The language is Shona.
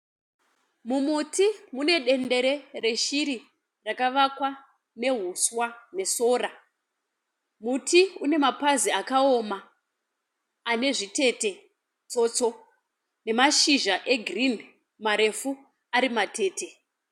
Mumuti mune dendere reshiri rakavakwa nehuswa nesora. Muti une mapazi akawoma ane zvitete tsotso nemashizha egirinhi marefu ari matete.